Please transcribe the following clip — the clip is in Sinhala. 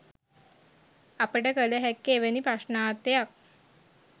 අපට කළ හැක්කේ එවැනි ප්‍රශ්නාර්ථයක්